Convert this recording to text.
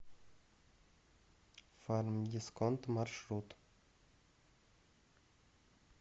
фармдисконт маршрут